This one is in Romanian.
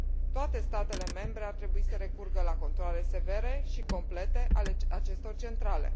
Toate statele membre ar trebui să recurgă la controale severe și complete ale acestor centrale.